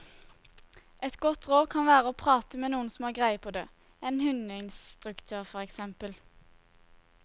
Et godt råd kan være å prate med noen som har greie på det, en hundeinstruktør for eksempel.